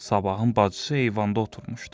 Sabahın bacısı eyvanda oturmuşdu.